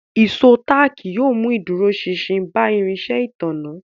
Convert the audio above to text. Ìṣó táàkì yóò mú ìdúróṣinṣin bá irinṣẹ́ ìtanná